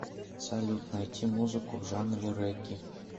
салют найти музыку в жанре регги